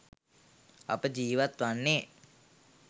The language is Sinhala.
අප ජීවත් වන්නේ